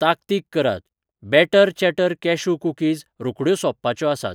ताकतीक करात, बॅटर चॅटर कॅशू कुकीज रोखड्यो सोंपपाच्यो आसात.